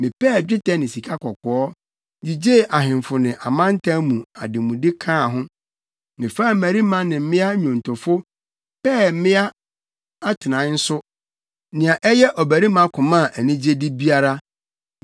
Mepɛɛ dwetɛ ne sikakɔkɔɔ, gyigyee ahemfo ne amantam no ademude kaa ho. Mefaa mmarima ne mmea nnwontofo, pɛɛ mmea atenae nso; nea ɛyɛ ɔbarima koma anigyede biara.